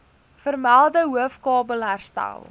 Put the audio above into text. vermelde hoofkabel herstel